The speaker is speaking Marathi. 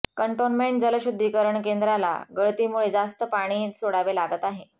कॅन्टोन्मेंट जलशुध्दीकरणकेंद्राला गळतीमुळे जास्त पाणी सोडावे लागत आहे